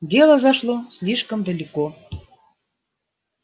дело зашло слишком далеко